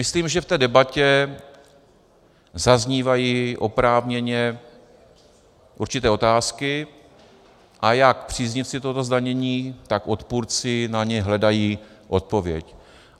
Myslím, že v té debatě zaznívají oprávněně určité otázky, a jak příznivci tohoto zdanění tak odpůrci na ně hledají odpověď.